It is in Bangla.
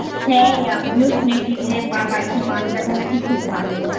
হ্যাঁ রে আমিও শুনেছি বাড়িতে মাছ রাখা নাকি খুব ভালোI